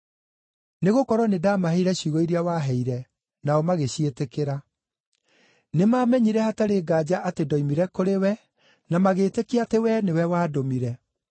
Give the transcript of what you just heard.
Nĩgũkorwo nĩndamaheire ciugo iria waheire, nao magĩciĩtĩkĩra. Nĩmamenyire hatarĩ nganja atĩ ndoimire kũrĩ wee, na magĩĩtĩkia atĩ wee nĩwe wandũmire.